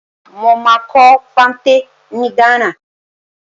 Mo máa kọ́ fante ni Ghana.